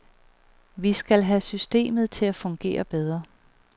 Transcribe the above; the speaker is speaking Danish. Vi skal have systemet til at fungere bedre.